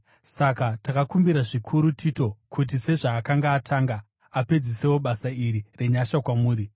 Saka takakumbira zvikuru Tito, kuti sezvaakanga atanga, apedzisewo basa iri renyasha kwamuri.